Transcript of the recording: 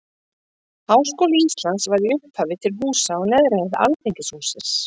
Háskóli Íslands var í upphafi til húsa á neðri hæð Alþingishússins.